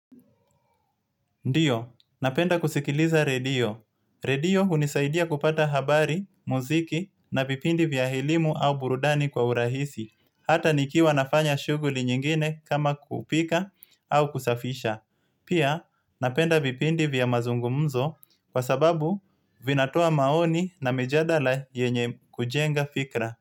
Ndiyo, napenda kusikiliza redio. Redio unisaidia kupata habari, muziki na vipindi vya elimu au burudani kwa urahisi. Hata nikiwa nafanya shuguli nyingine kama kupika au kusafisha. Pia, napenda vipindi vya mazungumzo kwa sababu vinatoa maoni na mijadala yenye kujenga fikra.